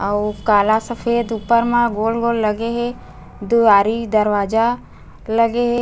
अउ काला सफ़ेद - उपर मा गोल - गोल लगे हे। दुआरी दरवाजा लगे हे।